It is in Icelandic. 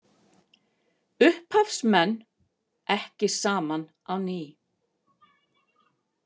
Upphafsmenn ekki saman á ný